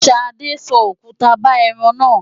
Ṣadé so òkuta ba ẹran náà.